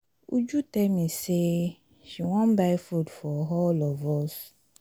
uju tell me say she wan buy food for all of us